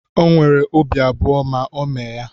O nwere obi abụọ ma o mee ya.